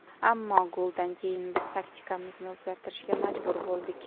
Ammo goldan keyin biz taktikamizni o‘zgartirishga majbur bo‘ldik.